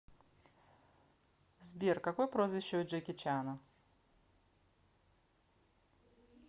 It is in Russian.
сбер какое прозвище у джеки чана